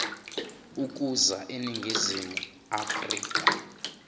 ukuza eningizimu afrika